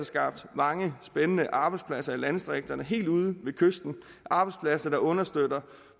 skabt mange spændende arbejdspladser i landdistrikterne helt ude ved kysten arbejdspladser der understøtter